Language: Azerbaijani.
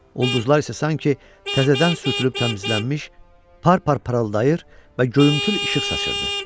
Ulduzlar isə sanki təzədən sürtülüb təmizlənmiş, par-par parıldayır və göyümtül işıq saçırdı.